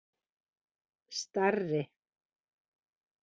Starri